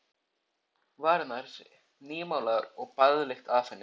Varirnar nýmálaðar og baðlykt af henni.